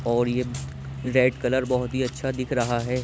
और ये red colour बोहोत ही अच्छा दिख रहा है।